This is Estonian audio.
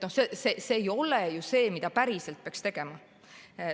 See ei ole ju see, mida päriselt peaks tegema.